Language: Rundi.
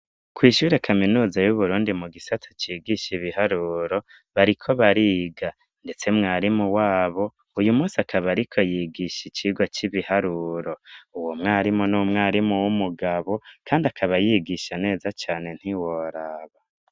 Kw'ishure kaminuza y'uburundi mu gisata cigisha ibiharuro bariko bariga ndetse umwarimu wabo uyu munsi akaba ariko yigisha ikigwa c'ibiharuro, uwo mwarimu n'umwarimu w'umugabo kandi akaba yigisha neza cane ntiworaba.